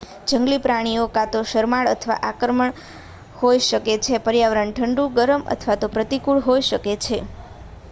જંગલી પ્રાણીઓ કાં તો શરમાળ અથવા આક્રમક હોઈ શકે છે પર્યાવરણ ઠંડુ ગરમ અથવા તો પ્રતિકૂળ હોઈ શકે છે